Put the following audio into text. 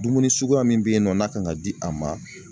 Dumuni suguya min be yen nɔ n'a kan ka di a ma